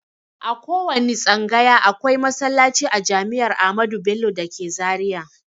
A kowanne tsangaya akwai masallaci a jami'ar amadu bello dake zaria